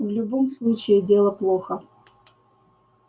в любом случае дело плохо